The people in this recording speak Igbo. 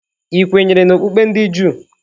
Ị kwenyere n'okpukpe ndị Juu?